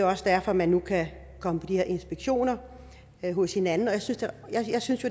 også derfor man nu kan komme på de her inspektioner hos hinanden jeg synes